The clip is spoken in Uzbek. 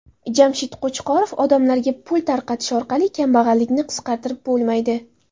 Jamshid Qo‘chqorov: Odamlarga pul tarqatish orqali kambag‘allikni qisqartirib bo‘lmaydi.